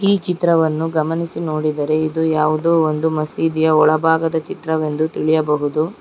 ಈ ಚಿತ್ರವನ್ನು ಗಮನಿಸಿ ನೋಡಿದರೆ ಇದು ಯಾವುದೋ ಒಂದು ಮಸೀದಿಯ ಒಳಭಾಗದ ಚಿತ್ರವೆಂದು ತಿಳಿಯಬಹುದು.